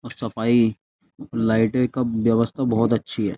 और सफाई लाइट का व्यवस्था बहुत अच्छी है।